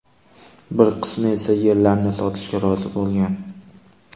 Bir qismi esa yerlarini sotishga rozi bo‘lgan.